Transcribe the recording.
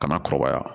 Kana kɔrɔbaya